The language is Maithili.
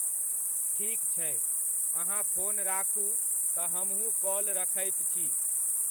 ठीक छै !अहाँ फोन राखू तऽ हमहुँ काॅल रखैत छी।